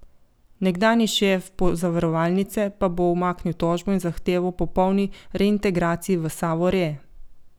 Nekdanji šef pozavarovalnice pa bo umaknil tožbo in zahtevo po polni reintegraciji v Savo Re.